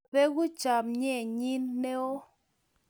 Mabegu chamnyennyi ne o.